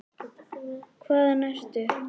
Hvaðan ertu?